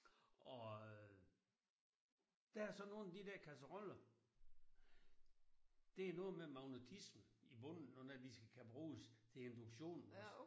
Og øh der er så nogen af de der kasseroller det er noget med magnetisme i bunden når de skal kunne bruges til induktion også